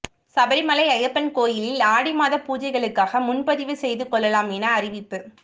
சபரிமலை ஐயப்பன் கோயிலில் ஆடி மாத பூஜைகளுக்காக முன்பதிவு செய்து கொள்ளலாம் என அறிவிப்பு